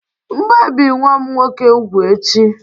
M'gēbì nwam nwoke úgwù echi